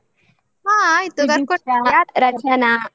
ಹಾ ಆಯ್ತು. ಕರ್ಕೊಂಡು ಬಾ.